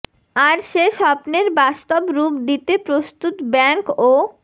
আর সে স্বপ্নের বাস্তব রূপ দিতে প্রস্তুত ব্যাংক ও